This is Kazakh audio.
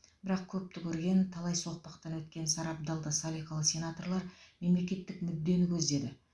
бірақ көпті көрген талай соқпақтан өткен сарабдал да салиқалы сенаторлар мемлекттік мүддені көздеді